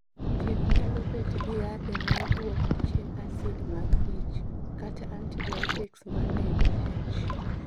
Thieth nyalo bet gi yathe ma duoko chien acid mag ich, kata antibiotics ma nego H